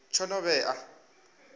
tshinovhea